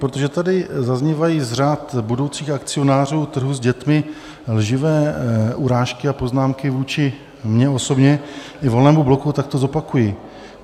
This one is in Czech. Protože tady zaznívají z řad budoucích akcionářů trhu s dětmi lživé urážky a poznámky vůči mně osobně i Volnému bloku, tak to zopakuji.